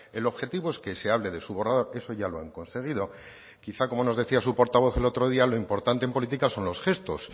el objetivo es que se hable de su borrador eso ya lo han conseguido quizá como nos decía su portavoz el otro día lo importante en política son los gestos